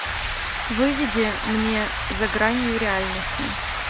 выведи мне за гранью реальности